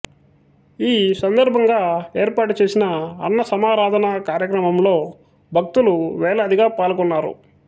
ఈ సందర్భంగా ఏర్పాటుచేసిన అన్నసమారాధన కార్యక్రమంలో భక్తులు వేలాదిగా పాల్గొన్నారు